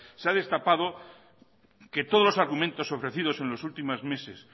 se ha destapado que todos los argumentos ofrecidos en los últimos meses